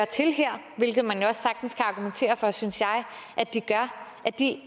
til her hvilket man også sagtens kan argumentere for synes jeg at de